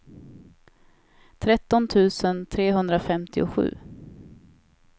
tretton tusen trehundrafemtiosju